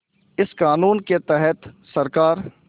इस क़ानून के तहत सरकार